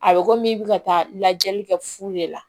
A bɛ komi i bɛ ka taa lajɛli kɛ fu de la